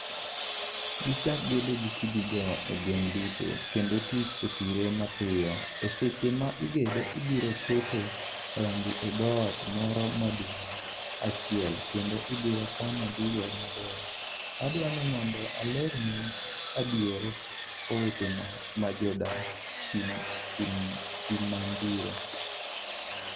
'gichak gedo gi kidigo e gweng'duto, kendo tich otire mapiyo ,e seche ma igedo ibiro keto rangi e dhoot moro maduong' achiel kendo ibro kano gigo mabeyo, adwa nimondo alernwu adier owetena majodakSimanjiro